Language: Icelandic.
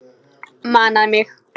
Manar mig.